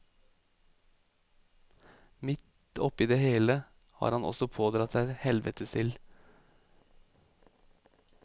Midt oppi det hele har han også pådratt seg helvetesild.